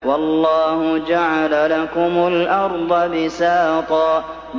وَاللَّهُ جَعَلَ لَكُمُ الْأَرْضَ بِسَاطًا